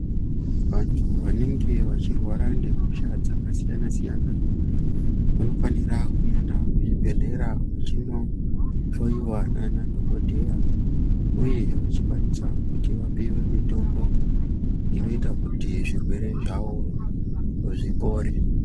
Vantu vanenge vachirwara nehosha dzakasiyana-siyana vanofanira kuenda kuzvibhedhlera vachinohlowiwa nanadhokodheya uyezve vapiwe mitombo inoita kuti zvirwere zvawo zvipore.